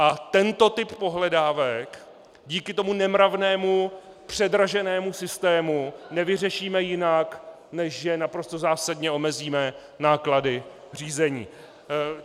A tento typ pohledávek kvůli tomu nemravnému předraženému systému nevyřešíme jinak, než že naprosto zásadně omezíme náklady řízení.